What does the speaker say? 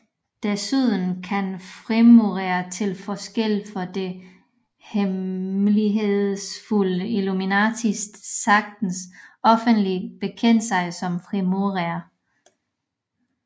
Desuden kan frimurere til forskel for det hemmelighedsfulde Illuminati sagtens offentligt bekende sig som frimurere